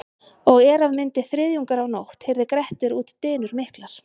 Og er af myndi þriðjungur af nótt heyrði Grettir út dynur miklar.